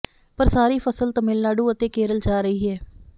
ਪਰ ਸਾਰੀ ਫਸਲ ਤਾਮਿਲਨਾਡੂ ਅਤੇ ਕੇਰਲ ਜਾ ਰਹੀ ਹੈ